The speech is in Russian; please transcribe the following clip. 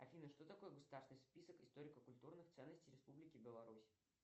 афина что такое государственный список историко культурных ценностей республики беларусь